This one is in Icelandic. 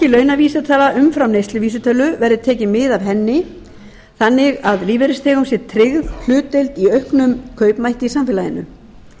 launavísitala umfram neysluvísitölu verði tekið mið af henni þannig að lífeyrisþegum sé tryggð hlutdeild í auknum kaupmætti í samfélaginu